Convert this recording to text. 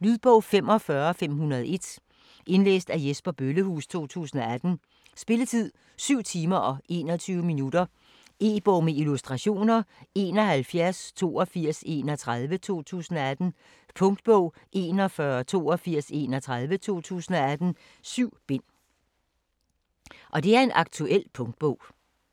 Lydbog 45501 Indlæst af Jesper Bøllehuus, 2018. Spilletid: 7 timer, 21 minutter. E-bog med illustrationer 718231 2018. Punktbog 418231 2018. 7 bind. Aktuel punktbog